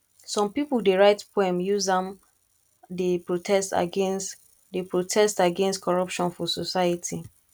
some pipo dey write poem use am dey protest against dey protest against corruption for society